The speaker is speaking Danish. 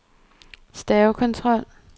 stavekontrol